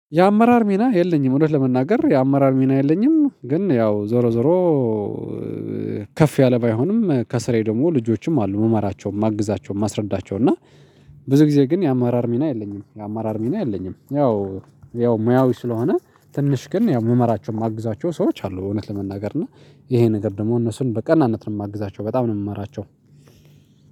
የአመራር ሚና የለኝም። እውነት ለመናገር የአመራር ሚና የለኝም ግን ያው ዞሮ ዞሮ ከፍ ያለ ባይሆንም ከስሬ ደግሞ ልጆችም አሉ መመራቸውን ማግዛቸው ማስረዳቸውን እና ብዙ ጊዜ ግን የአማራር ሚና የለኝም የአማራር ሚና የለኝም። ያው ያው ሙያዊ ስለሆነ ትንሽ ግን ያው ምመራቸው የማግዛቸው ሰዎች አሉ። እውነት ለመናገር እና ይሄ ነገር ደግሞ እነሱን በቅናነት ነው የማግዛቸው በጣም ነው የምመራቸው።